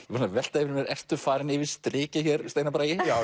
velta fyrir mér ertu farinn yfir strikið hér Steinar Bragi já